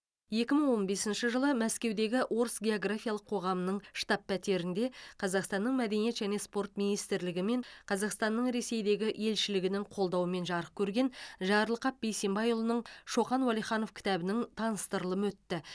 екі мың он бесінші жылы мәскеудегі орыс географиялық қоғамының штаб пәтерінде қазақстанның мәдениет және спорт министрлігі мен қазақстанның ресейдегі елшілігінің қолдауымен жарық көрген жарылқап бейсенбайұлының шоқан уәлиханов кітабының таныстырылымы өтті